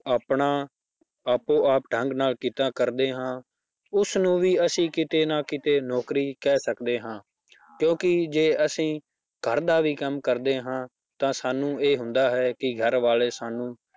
ਆਪਣਾ ਆਪੋ ਆਪ ਢੰਗ ਨਾਲ ਕਿੱਤਾ ਕਰਦੇ ਹਾਂ ਉਸਨੂੰ ਵੀ ਅਸੀਂ ਕਿਤੇ ਨਾ ਕਿਤੇ ਨੌਕਰੀ ਕਹਿ ਸਕਦੇ ਹਾਂ ਕਿਉਂਕਿ ਜੇ ਅਸੀਂ ਘਰ ਦਾ ਵੀ ਕੰਮ ਕਰਦੇ ਹਾਂ ਤਾਂ ਸਾਨੂੰ ਇਹ ਹੁੰਦਾ ਹੈ ਕਿ ਘਰ ਵਾਲੇ ਸਾਨੂੰ